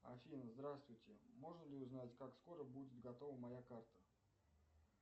афина здравствуйте можно ли узнать как скоро будет готова моя карта